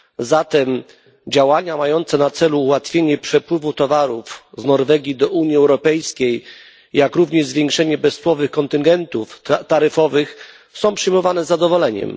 Zatem działania mające na celu ułatwienie przepływu towarów z Norwegii do Unii Europejskiej, jak również zwiększenie bezcłowych kontyngentów taryfowych są przyjmowane z zadowoleniem.